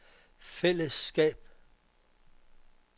fællesskab